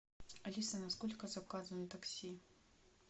алиса на сколько заказано такси